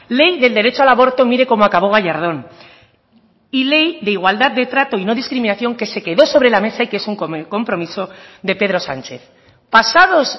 ley del derecho al aborto mire cómo acabó gallardón y ley de igualdad de trato y no discriminación que se quedó sobre la mesa y que es un compromiso de pedro sánchez pasados